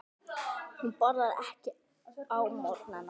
Hún borðar ekki á morgnana.